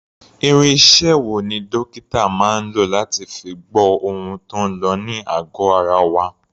Irinṣẹ́ wo ni dókítà máa ń lò láti fi gbọ́ ohun tó ń lọ ní àgọ̀ ara wa?